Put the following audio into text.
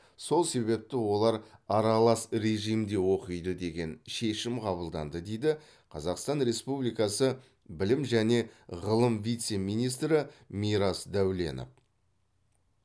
сол себепті олар аралас режимде оқиды деген шешім қабылданды дейді қазақстан республикасы білім және ғылым вице министрі мирас дәуленов